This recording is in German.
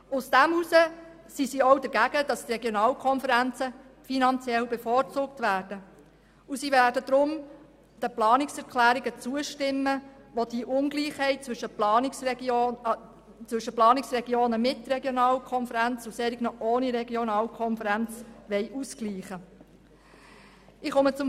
Deshalb sind sie auch dagegen, dass die Regionalkonferenzen finanziell bevorzugt werden und werden deshalb den Planungserklärungen zustimmen, welche die Ungleichheit zwischen Planungsregionen mit Regionalkonferenz und Planungsregionen ohne Regionalkonferenz ausgleichen wollen.